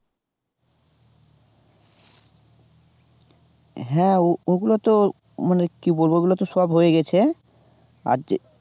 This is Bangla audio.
হ্যাঁ ওগুলোতো মানে কি বলবো ওগুলোতো সব হয়ে গেছে, আর যে